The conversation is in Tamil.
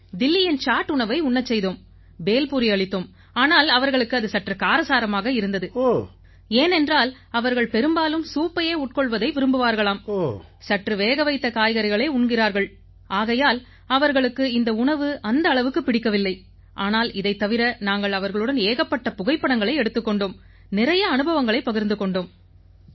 தில்லியின் சாட் உணவை உண்ணச் செய்தோம் பேல் பூரி அளித்தோம் ஆனால் அவர்களுக்கு அது சற்று காரசாரமாக இருந்தது ஏனென்றால் அவர்கள் பெரும்பாலும் சூப்பையே உட்கொள்வதை விரும்புவார்களாம் சற்று வேகவைத்த காய்கறிகளை உண்கிறார்கள் ஆகையால் அவர்களுக்கு இந்த உணவு அந்த அளவுக்குப் பிடிக்கவில்லை ஆனால் இதைத் தவிர நாங்கள் அவர்களுடன் ஏகப்பட்ட புகைப்படங்களை எடுத்துக் கொண்டோம் நிறைய அனுபவங்களைப் பகிர்ந்து கொண்டோம்